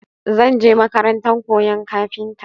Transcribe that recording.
Zan je makaranta koyan kafinta.